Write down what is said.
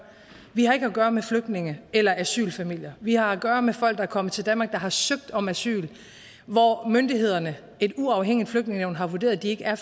vi har ikke at gøre med flygtninge eller asylfamilier vi har at gøre med folk der er kommet til danmark der har søgt om asyl og som myndighederne et uafhængigt flygtningenævn har vurderet ikke er